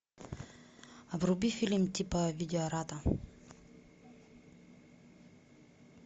вруби фильм типа видеората